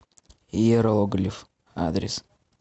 иероглиф адрес